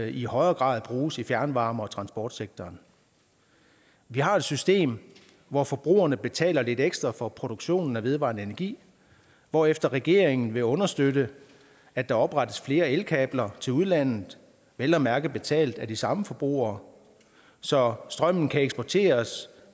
i højere grad bruges i fjernvarme og transportsektoren vi har et system hvor forbrugerne betaler lidt ekstra for produktionen af vedvarende energi hvorefter regeringen vil understøtte at der oprettes flere elkabler til udlandet vel at mærke betalt af de samme forbrugere så strømmen kan eksporteres